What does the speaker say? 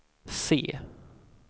C